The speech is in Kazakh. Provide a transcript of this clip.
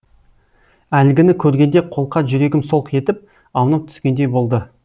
әлгіні көргенде қолқа жүрегім солқ етіп аунап түскендей болды